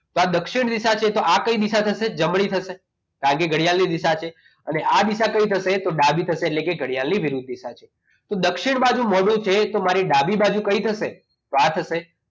તો આ દક્ષિણ દિશા છે તો આ કઈ દિશા થશે જમણી થશે બાકી ઘડિયાળની દિશા છે હવે આ દિશા કઈ થશે તો ડાભી થશે એટલે કે ઘડિયાળની વિરુદ્ધ દિશા છે તો દક્ષિણ બાજુ મોઢું છે એક ડાબી બાજુ કઈ થશે તો આ થશે